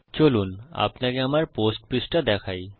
চলুন আপনাকে আমার পোস্ট পৃষ্ঠা দেখাই